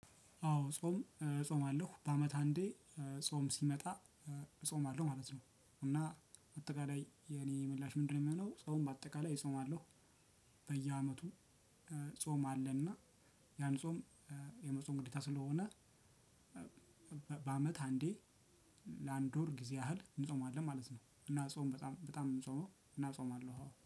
አዎ ጾም እፆማለው በአመት አንዴ ጾም ሲመጣ እጾማለው ማለት ነው። እና አጠቃላይ የእኔ ምላሽ ምንድነው? እሚሆነው ጾም በአጠቃላይ እጾማለሁ። በየአመቱ ጾም አለን። ያን ጾም የመጾም ግዴታ ስለሆነ። በአመት አንዴ ለአንድ ወር ጊዜ ያህል እንጾማለን ማለት ነው። እና ጾም በጣም በጣም እምንጾመው እና እጾማለሁ